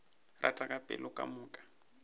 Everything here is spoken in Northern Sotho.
rata ka pelo ka moka